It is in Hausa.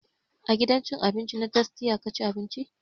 A gidan cin abinci na tastia ka ci abinci?